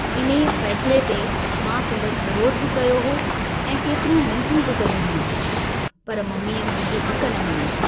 इन्हीअ फैसिले ते मां संदसि विरोध बि कयो हो ऐं केतिरियूं मिन्थू बि कयूं हुयूं, पर मम्मीअ मुंहिंजी हिक न मंञी।